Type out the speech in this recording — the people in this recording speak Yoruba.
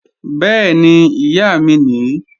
Bẹ́ẹ̀ni, Ìyá mi nìí